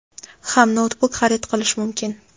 ham noutbuk xarid qilish mumkin.